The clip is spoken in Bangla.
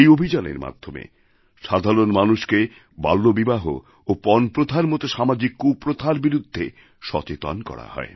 এই অভিযানের মাধ্যমে সাধারণ মানুষকে বাল্যবিবাহ এবং পণ প্রথার মত সামাজিক কুপ্রথার বিরুদ্ধে সচেতন করা হয়